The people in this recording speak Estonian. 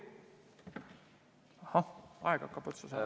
Ahah, aeg hakkab otsa saama.